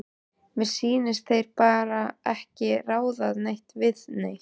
Mér sýnist þeir bara ekki ráða neitt við neitt.